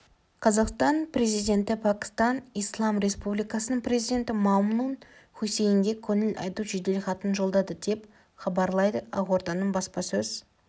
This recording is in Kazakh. қазақстан президенті пәкістан ислам республикасының президенті мамнун хусейнге көңіл айту жеделхатын жолдады деп хабарлайды ақорданың баспасөз